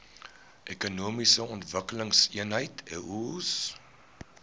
ekonomiese ontwikkelingseenhede eoes